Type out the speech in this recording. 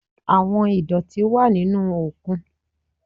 Àwọn ìdọ̀tí wà nínú òkun.